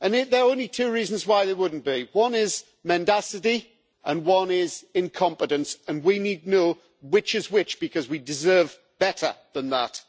and there are only two reasons why they wouldn't be one is mendacity and one is incompetence, and we need to know which is which, because we deserve better than that.